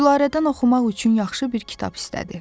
Gülarədən oxumaq üçün yaxşı bir kitab istədi.